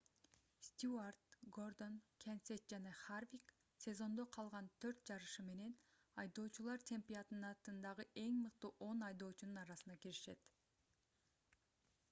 стьюарт гордон кенсет жана харвик сезондо калган төрт жарышы менен айдоочулар чемпионатындагы эң мыкты он айдоочунун арасына киришет